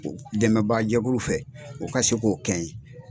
o dɛmɛbaga jɛkuluw fɛ u ka se k'o kɛ n ɲɛ.